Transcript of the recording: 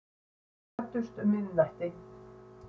Við kvöddumst um miðnætti.